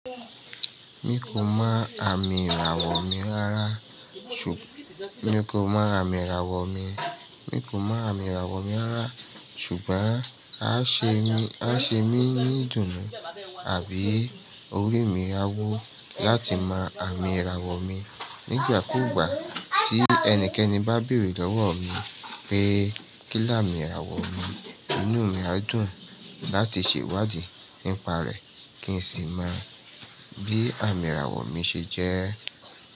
Mi kò mọ àmì ìràwọ̀ mi, mi kò mọ àmì ìràwọ̀ mi rárá, ṣùgbọ́n á ṣe mí, á ṣe mí ní ìdùnnú àbí orí mi á wu láti mọ àmì ìràwọ̀ mi. Nígbà kúùgbà tí ẹnikẹ́ni bá bèrè lọ́wọ́ mi pé kí lámi ìràwọ̀ mi, inú mi á dùn láti ṣèwádìí nípa rẹ̀ kí n sì mọ bí àmì ìràwọ̀ mi ṣe jẹ́